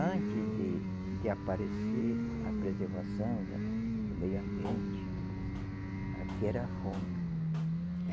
Antes de de aparecer a preservação da do meio ambiente, aqui era fome.